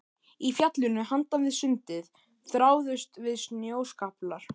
Í fjallinu handan við sundið þráuðust við snjóskaflar.